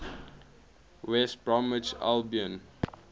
west bromwich albion